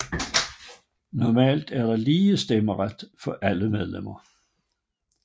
Normalt er der lige stemmeret for alle medlemmer